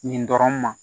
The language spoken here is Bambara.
Nin dɔrɔn ma